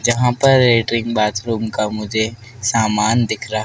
जहां पर latrine bathroom का मुझे सामान दिख रहा--